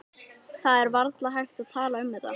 Það er varla hægt að tala um þetta.